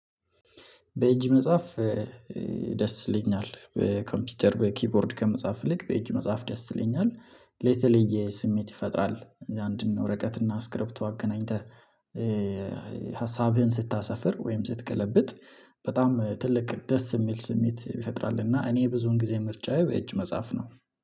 በእጅ መጻፍ። ደስ ይለኛል በኮምፒውተር በኪቦርድ ከመጻፍ ይልቅ በእጅ መጻፍ ደስ ይለኛል። የተለየ ስሜት ይፈጥራል አንድን ወረቀት እና እስክሪፕቶ አገናኝተህ ሀሳብህን ስታሰፍር ወይም ስትገለብጥ በጣም ትልቅ ደስ የሚል ስሜት ይፈጥራል። እና እኔ ብዙን ጊዜ ምርጫዬ በእጅ መጻፍ ነው።